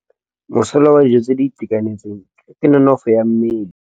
Mosola wa dijô tse di itekanetseng ke nonôfô ya mmele.